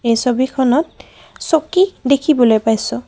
এই ছবিখনত চকী দেখিবলৈ পাইছোঁ।